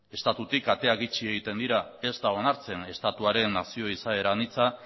estatutik ateak itxi egiten dira ez da onartzen estatuaren nazio izaera anitza